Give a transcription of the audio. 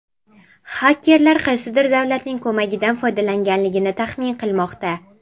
xakerlar qaysidir davlatning ko‘magidan foydalanganligini taxmin qilmoqda.